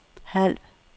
halv